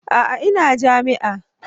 A'a ina jami'a.